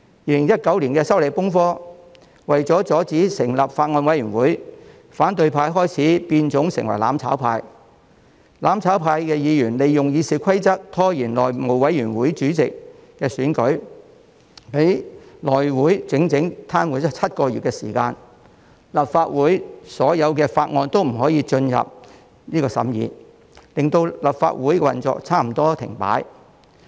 2019年出現了修例風波，為了阻止成立法案委員會，反對派開始變種成為"攬炒派"，他們利用《議事規則》拖延內務委員會主席選舉，令內務委員會癱瘓了整整7個月，提交予立法會的所有法案都未能進入審議，令立法會運作差不多停擺。